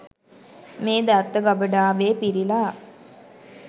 මේ දත්ත ගබඩාවේ පිරිලා.